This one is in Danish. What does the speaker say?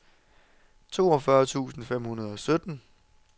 toogfyrre tusind fem hundrede og sytten